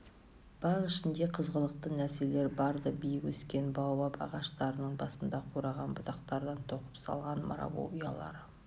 бақ ішінде қызғылықты нәрселер бар-ды биік өскен баобаб ағаштарының басында қураған бұтақтардан тоқып салған марабу ұялары